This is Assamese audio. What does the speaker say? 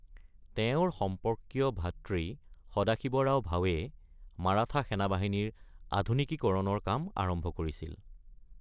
তেওঁৰ সম্পৰ্কীয় ভাতৃ সদাশিৱৰাও ভাৱে মাৰাঠা সেনাবাহিনীৰ আধুনিকীকৰণৰ কাম আৰম্ভ কৰিছিল।